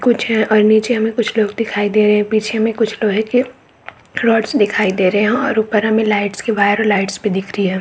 कुछ और नीचे हमें कुछ लोग दिखाई दे रहे है पीछे में कुछ लोहे के रोड्स दिखाई दे रहे है और ऊपर हमें लाइट्स के वायर और लाइट्स भी दिख रही हैं ।